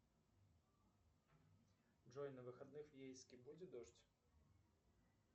джой на выходных в ейске будет дождь